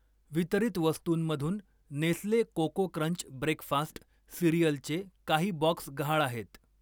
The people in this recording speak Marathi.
वितरित वस्तूंमधून नेस्ले कोको क्रंच ब्रेकफास्ट सिरिअलचे काही बॉक्स गहाळ आहेत.